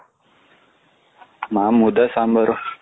ನಾನು ಮುದ್ದೆ ಸಾಂಬಾರ್ ,